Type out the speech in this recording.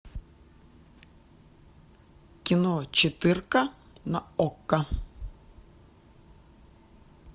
кино четыре ка на окко